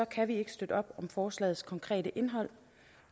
kan vi ikke støtte op om forslagets konkrete indhold